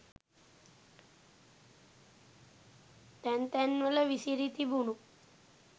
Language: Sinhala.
තැන් තැන්වල විසිරි තිබුණු